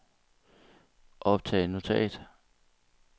optag notat